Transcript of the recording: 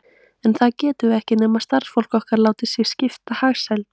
En það getum við ekki, nema starfsfólk okkar láti sig skipta hagsæld